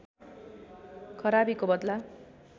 खराबीको बदला